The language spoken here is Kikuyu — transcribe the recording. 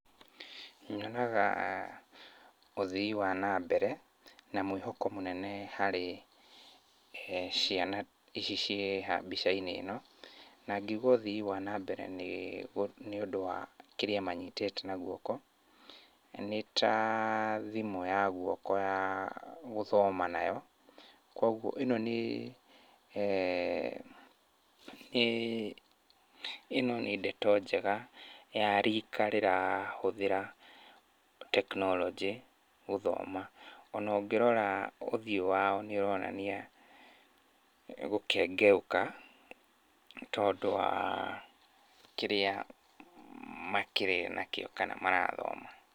Nyonaga ũthii wa nambere na mwĩhoko mũnene harĩ ciana ici ciĩ haha mbica-inĩ ĩno. Na ngĩuga ũthii wa nambere nĩ ũndũ wa kĩrĩa manyitĩĩte na gũoko. Nĩ ta thimũ ya guoko ya gũthoma nayo. Koguo, ĩno nĩ eeh nĩ ndeto njega ya rika rĩrahũthĩra tekinoronjĩ gũthoma. Ona ũngĩrora ũthiũ wao nĩũronania gũkengeũka, tondũ wa kĩrĩa makĩrĩ nakĩo kana marathoma.